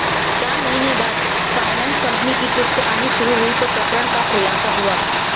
चार महीने बाद फायनेंस कंपनी की किश्त आनी शुरु हुई तो प्रकरण का खुलासा हुआ